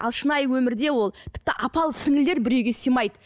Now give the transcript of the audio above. ал шынайы өмірде ол тіпті апалы сіңлілер бір үйге сыймайды